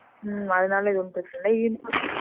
உம் அதுனால இது ஒன்னும் பெரிசு இல்ல